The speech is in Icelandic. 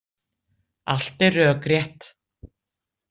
Allt er rökrétt.